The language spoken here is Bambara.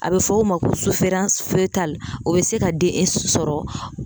A bɛ fɔ o ma ko o bɛ se ka den sɔrɔ